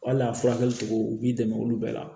Hali a furakɛli cogo u b'i dɛmɛ olu bɛɛ la